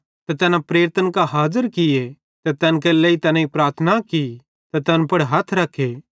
ते तैना प्रेरितन कां हाज़र किये ते तैन केरे लेइ तैनेईं प्रार्थना की ते तैन पुड़ हथ रख्खे